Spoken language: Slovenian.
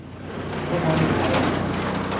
Krvavela je.